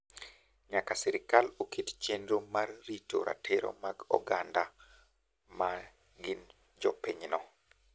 Nyaka sirkal oket chenro mar rito ratiro mag oganda ma gin jopinyno.